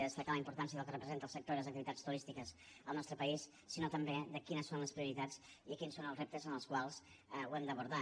destacar la importància del que representa el sector i les activitats turístiques al nostre país sinó també de quines són les prioritats i quins són els reptes en els quals ho hem d’abordar